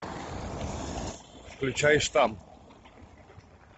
включай штамм